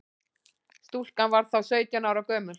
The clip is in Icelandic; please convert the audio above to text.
Stúlkan var þá sautján ára gömul